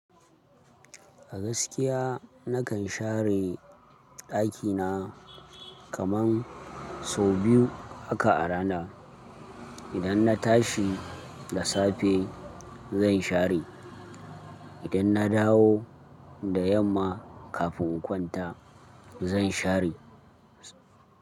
A gaskiya nakan share ɗakina kaman sau biyu haka a rana. Idan na tashi da safe zan share. Idan na dawo da yamma kafin kwanta zan share.